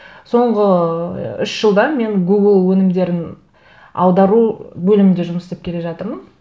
соңғы үш жылда мен гугл өңімдерін аудару бөлімінде жұмыс істеп келе жатырмын